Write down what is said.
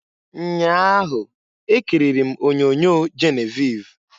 Nnyaa ahụ, ekiriri m onyoonyo Geneviv.